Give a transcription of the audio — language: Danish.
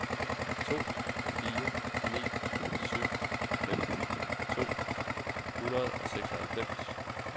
to fire ni syv femten to hundrede og seksoghalvfems